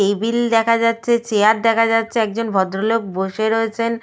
Table দেখা যাচ্ছে chair দেখা যাচ্ছে একজন ভদ্রলোক বসে রয়েছেন।